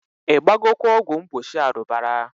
I gbagokwa ọgwụ mgbochi arubara?